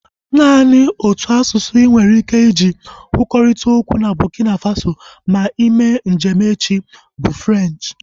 Naanị otu asụsụ inwere ike iji kwurịta okwu na Burkina Faso ma ime njem echi bụ Frenchi